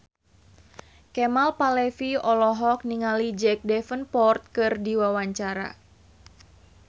Kemal Palevi olohok ningali Jack Davenport keur diwawancara